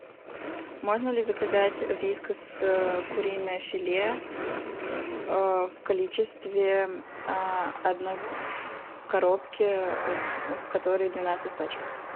можно ли заказать вискас куриное филе в количестве одной коробки в которой двенадцать пачек